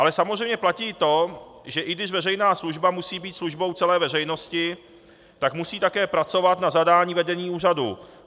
Ale samozřejmě platí i to, že když veřejná služba musí být službou celé veřejnosti, tak musí také pracovat na zadání vedení úřadu.